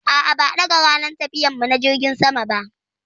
A'a, ba a ɗaga ranar tafiyar mu na jirgin sama.